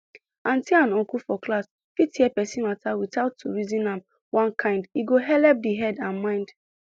auntie and uncle for class fit hear person matter without to reason am one kind e go helep the head and mind